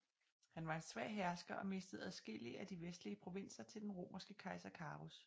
Han var en svag hersker og mistede adskillige af de vestlige provinser til den romerske kejser Carus